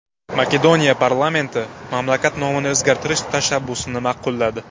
Makedoniya parlamenti mamlakat nomini o‘zgartirish tashabbusini ma’qulladi.